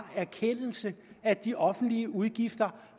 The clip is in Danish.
erkendelse at de offentlige udgifter